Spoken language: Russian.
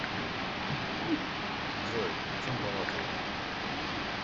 джой о чем балакаете